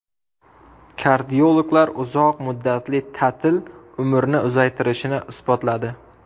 Kardiologlar uzoq muddatli ta’til umrni uzaytirishini isbotladi.